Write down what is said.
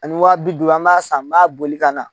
Ani waa bi duuru an b'a san n b'a boli ka na